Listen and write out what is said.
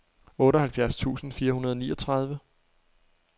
otteoghalvfjerds tusind fire hundrede og niogtredive